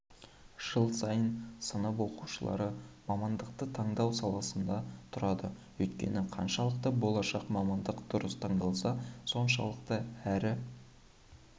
жыл сайын сынып оқушылары мамандықты таңдау алдында тұрады өйткені қаншалықты болашақ мамандық дұрыс таңдалса соншалықты әрі